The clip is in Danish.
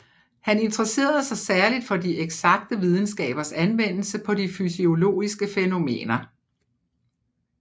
Han interesserede sig særligt for de eksakte videnskabers anvendelse på de fysiologiske fænomener